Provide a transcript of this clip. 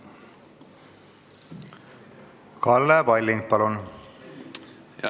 Kalle Palling, palun!